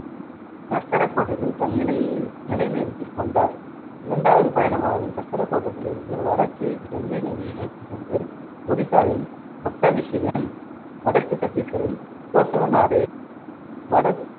சக்கரக்கோட்டத்தில் தன் நிலையை நிலைநிறுத்திக் கொண்டார். இரண்டாவது பயணமானது சக்கரக்கோட்டத்திலிருந்து வடக்கே கங்கை நதியை நோக்கிச் சென்று ஒடிசாவின் ஒட்ட விசயம், வடக்கு சத்தீஸ்கரின் கோசல நாடு, வட~